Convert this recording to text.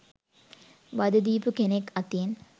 වද දීපු කෙනෙක් අතින්.